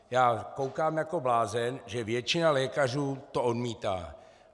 Já koukám jako blázen, že většina lékařů to odmítá.